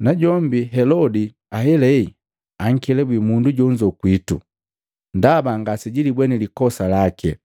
Najombi Helodi ahelahe ankelabwi mundu jonzo kwitu, ndaba ngasejilibweni likosa lake.